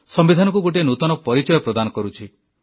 ସମ୍ବିଧାନକୁ ଗୋଟିଏ ନୂତନ ପରିଚୟ ପ୍ରଦାନ କରୁଛି